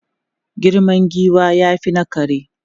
Girman giwa ya fi na kare.